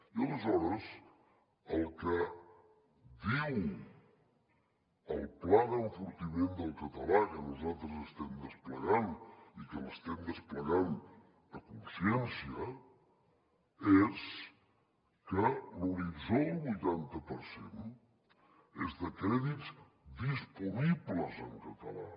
i aleshores el que diu el pla d’enfortiment del català que nosaltres estem desplegant i que l’estem desplegant a consciència és que l’horitzó del vuitanta per cent és de crèdits disponibles en català